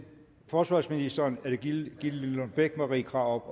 forsvarsministeren er det gitte lillelund bech marie krarup